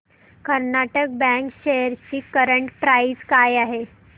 Karnataka bank shares ची current price काय आहे